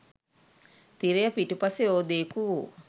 තිරය පිටුපස යෝධයෙකු වූ